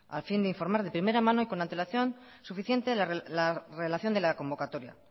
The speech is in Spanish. al fin de informar de primera mano y con antelación suficiente la relación de la convocatoria